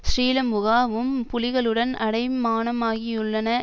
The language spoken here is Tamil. ஸ்ரீலமுகா வும் புலிகளுடன் அடையூமானமாகியுள்ளன